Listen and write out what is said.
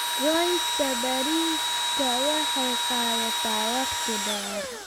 Goynta bariiska waxay qaadataa waqti dheer.